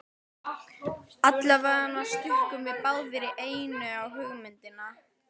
Allavega stukkum við báðir í einu á hugmyndina.